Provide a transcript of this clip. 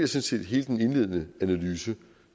set hele den indledende analyse